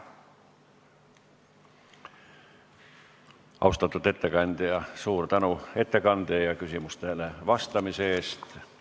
Austatud ettekandja, suur tänu ettekande ja küsimustele vastamise eest!